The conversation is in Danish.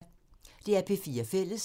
DR P4 Fælles